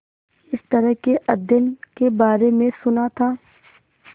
इस तरह के अध्ययन के बारे में सुना था